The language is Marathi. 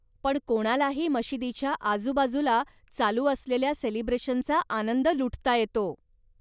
पण कोणालाही मशिदीच्या आजूबाजूला चालू असलेल्या सेलिब्रेशनचा आनंद लुटता येतो.